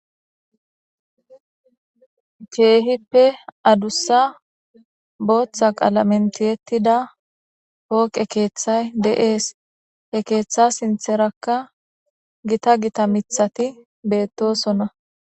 Keehippe adusa bootha qalamen tiyetida pooqe keethay de'es; he keetha sintheraka gita gita miththati betosona.